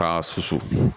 K'a susu